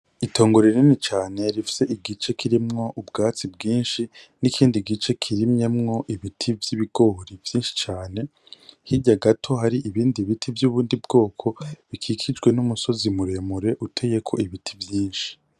Itongo rinini cane rifise igice kirimwo ubwatsi bwinshi nikindi gice kirimyemwo ibiti vy'ibigori vyinshi cane, hirya gato hari ibindi biti vyubundi bwoko bikikije n'umusozi muremure uteyeko ibiti vyinshi.